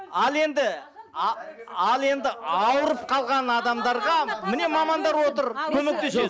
ал енді ал енді ауырып қалған адамдарға міне мамандар отыр көмектеседі